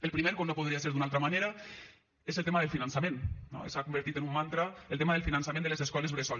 el primer com no podria ser d’una altra manera és el tema del finançament no s’ha convertit en un mantra el tema del finançament de les escoles bressol